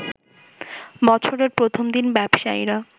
বছরের প্রথম দিন ব্যবসায়ীরা